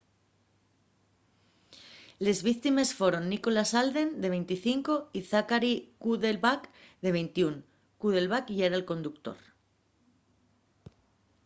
les víctimes foron nicholas alden de 25 y zachary cuddleback de 21 cuddleback yera'l conductor